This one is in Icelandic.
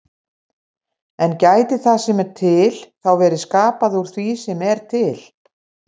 En gæti það sem er til þá verið skapað úr því sem er til?